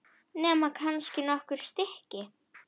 Nema kannski nokkur stykki.